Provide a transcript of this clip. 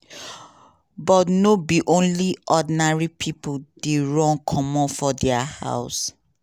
but no be only ordinary pipo dey run comot from dia house.